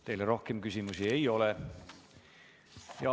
Teile rohkem küsimusi ei ole.